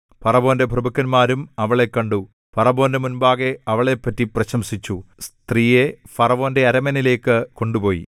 ഫറവോന്റെ പ്രഭുക്കന്മാരും അവളെ കണ്ടു ഫറവോന്റെ മുമ്പാകെ അവളെപ്പറ്റി പ്രശംസിച്ചു സ്ത്രീയെ ഫറവോന്റെ അരമനയിലേക്കു കൊണ്ടുപോയി